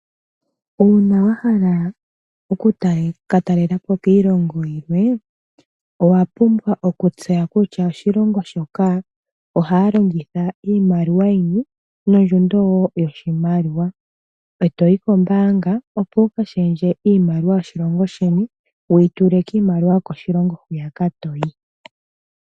Uuna to ka talela po koshilongo shimwe owa pumbwa oku